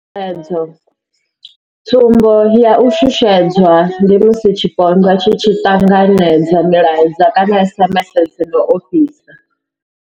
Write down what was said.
Tshutshedzo tsumbo ya u shushedzwa ndi musi tshipondwa tshi tshi ṱanganedza milaedza kana SMS dzi no ofhisa.